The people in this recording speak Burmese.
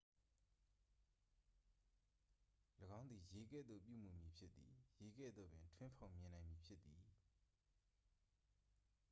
"""၎င်းသည်ရေကဲ့သို့ ပြုမူမည်ဖြစ်သည်။ ရေကဲ့သို့ပင် ထွင်းဖောက်မြင်နိုင်မည်ဖြစ်သည်။